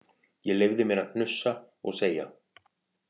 Ég leyfði mér að hnussa og segja